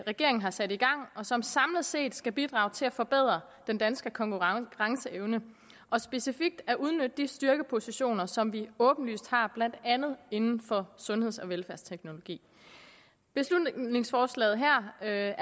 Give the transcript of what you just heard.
regeringen har sat i gang og som samlet set skal bidrage til at forbedre den danske konkurrenceevne og specifikt udnytte de styrkepositioner som vi åbenlyst har blandt andet inden for sundheds og velfærdsteknologi beslutningsforslaget her er